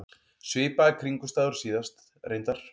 Svipaðar kringumstæður og síðast, reyndar.